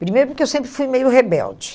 Primeiro, porque eu sempre fui meio rebelde.